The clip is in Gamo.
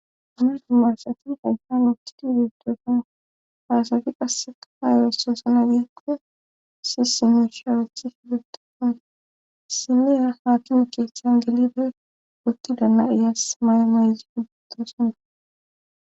Amidu maasati ayhan otiti udutosana faasafi qase kaa yeresoosana giikko si simushi harethi hibetakon siniya haakime keeththan gelibe wotti daana iyaas may mayzi ubbutosona